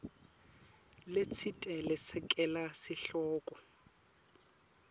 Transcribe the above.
letsite lesekela sihloko